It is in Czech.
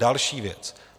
Další věc.